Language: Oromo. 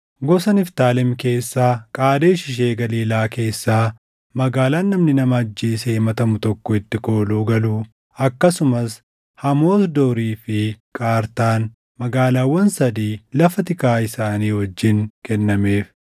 gosa Niftaalem keessaa Qaadesh ishee Galiilaa keessaa, magaalaan namni nama ajjeesee himatamu tokko itti kooluu galuu akkasumas Hamoot Doorii fi Qartaan, magaalaawwan sadii lafa tikaa isaanii wajjin kennameef.